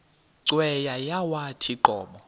cweya yawathi qobo